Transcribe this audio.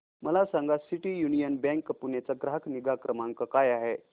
मला सांगा city union bank Pune चा ग्राहक निगा क्रमांक काय आहे